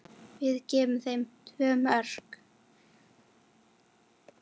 Við gáfum þeim tvö mörk.